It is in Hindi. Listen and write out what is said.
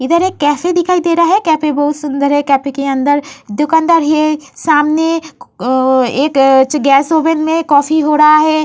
इधर एक कैफे दिखाई दे रहा है। कैफे बहुत सुंदर है। कैफे के अंदर दुकानदार हीए सामने क्-अं-एक च्-गैस ओवेन में कॉफ़ी हो डहा है।